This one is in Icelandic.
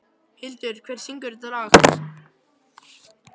Hildir, hver syngur þetta lag?